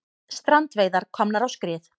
Strandveiðar komnar á skrið